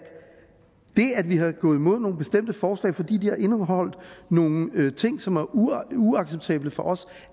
det at vi er gået imod nogle bestemte forslag fordi de har indeholdt nogle ting som var uacceptable for os